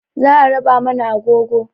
Za a raba mana agogo